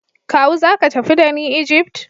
Kawu zaka tafi dani Egypt?